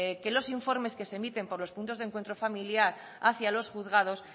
que los informes que se emiten por los puntos de encuentro familiar hacia los juzgados